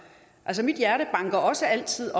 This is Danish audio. mit hjerte banker også altid